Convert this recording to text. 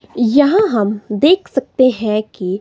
यहां हम देख सकते हैं कि--